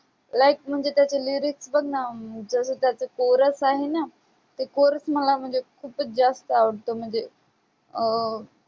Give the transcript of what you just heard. like म्हणजे त्याचे lyrics बघ ना, जसं त्याचं कोरस आहे ना, ते कोरस मला म्हणजे खूपच जास्त आवडतं म्हणजे अं